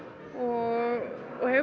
og hefur